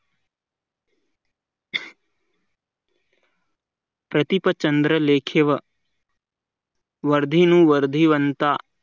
प्रतिपचंद्र लेखे व वर्धिनी वर्दी वनता